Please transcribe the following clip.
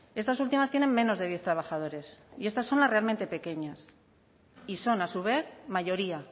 estas últimas tienen menos de diez trabajadores y estas son las realmente pequeñas y son a su vez mayoría